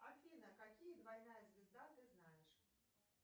афина какие двойная звезда ты знаешь